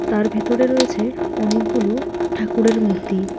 তার ভিতরে রয়েছে অনেকগুলো ঠাকুরের মূর্তি।